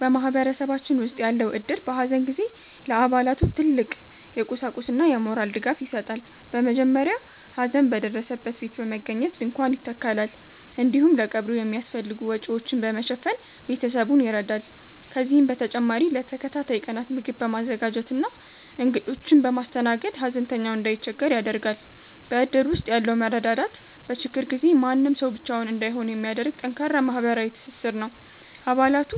በማህበረሰባችን ውስጥ ያለው እድር፣ በሐዘን ጊዜ ለአባላቱ ትልቅ የቁሳቁስና የሞራል ድጋፍ ይሰጣል። በመጀመሪያ ሐዘን በደረሰበት ቤት በመገኘት ድንኳን ይተከላል፤ እንዲሁም ለቀብሩ የሚያስፈልጉ ወጪዎችን በመሸፈን ቤተሰቡን ይረዳል። ከዚህም በተጨማሪ ለተከታታይ ቀናት ምግብ በማዘጋጀትና እንግዶችን በማስተናገድ፣ ሐዘንተኛው እንዳይቸገር ያደርጋል። በእድር ውስጥ ያለው መረዳዳት፣ በችግር ጊዜ ማንም ሰው ብቻውን እንዳይሆን የሚያደርግ ጠንካራ ማህበራዊ ትስስር ነው። አባላቱ